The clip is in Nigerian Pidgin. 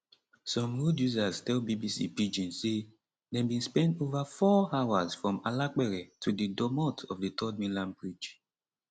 some road users tell bbc pidgin say dem bin spend over four hours from alapere to di domot of di 3rd mainland bridge